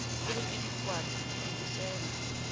o re ke dikwata dibusenga